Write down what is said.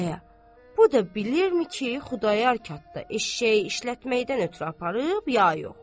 Aya, bu da bilirmi ki, Xudayar katda eşşəyi işlətməkdən ötrü aparıb, ya yox?